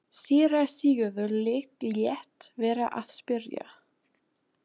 Síra Sigurður lét vera að spyrja.